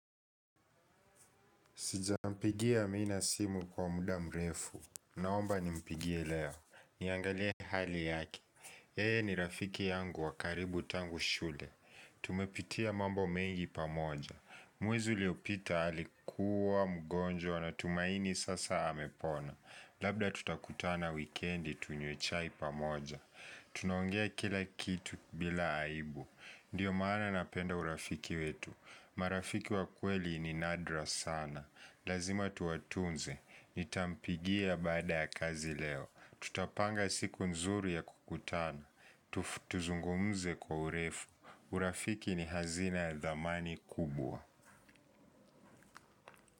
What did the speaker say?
Sijampigia amina simu kwa muda mrefu. Naomba nimpigie leo. Niangalie hali yake yeye ni rafiki yangu wa karibu tangu shule. Tumepitia mambo mengi pamoja. Mwezi uliopita alikuwa mgonjwa natumaini sasa amepona. Labda tutakutana wikendi tunywe chai pamoja. Tunaongea kila kitu bila aibu. Ndiyo maana napenda urafiki wetu. Marafiki wa kweli ni nadra sana. Lazima tuwatunze, nitampigia baada ya kazi leo, tutapanga siku nzuru ya kukutana, tuzungumze kwa urefu, urafiki ni hazina ya dhamani kubwa.